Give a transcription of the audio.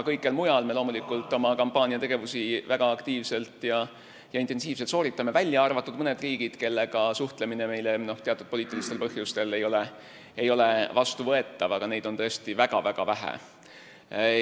Kõikjal mujal me loomulikult sooritame väga aktiivselt ja intensiivselt oma kampaaniategevusi, välja arvatud mõned riigid, kellega suhtlemine ei ole meile teatud poliitilistel põhjustel vastuvõetav, aga neid on tõesti väga-väga vähe.